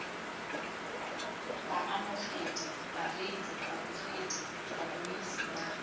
baamogedi bareetsi babogedi babuisi ba